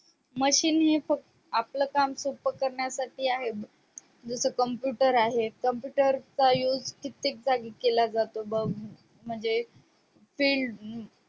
machine हे आपलं काम सोपं करण्यासाठी आहे जस computer आहे computer चा use कित्येक जागी केला जातो बग म्हणजे field